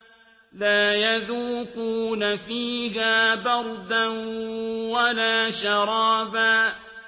لَّا يَذُوقُونَ فِيهَا بَرْدًا وَلَا شَرَابًا